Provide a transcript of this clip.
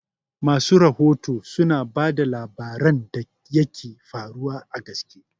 Masu rahoto suna bada labaran da yaka faruwa a gaske